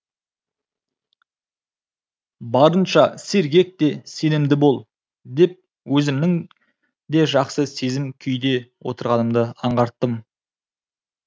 барынша сергек те сенімді бол деп өзімнің де жақсы сезім күйде отырғанымды аңғарттым